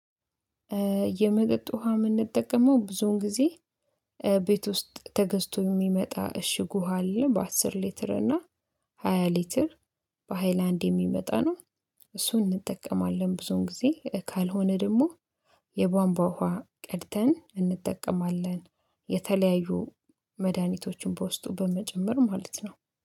የመጠጥ ውሃ የምንጠቀመው ብዙውን ጊዜ ቤት ውስጥ ተገዝቶ የሚመጣ እሽጉ ውሃ አለ በአስር ሊትር እና ሃያ ሊትር በሃይላንድ የሚመጣ ነው። እሱን እንጠቀማለን ብዙን ጊዜ ካልሆነ ደግሞ የቧንቧ ውሃ ቀድተን እንጠቀማለን። የተለያዩ መድሃኒቶችን በውስጡ በመጨመር ማለት ነው